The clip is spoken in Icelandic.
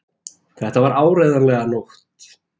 Það var áreiðanlega nótt.